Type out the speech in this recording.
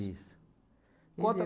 Isso. Conta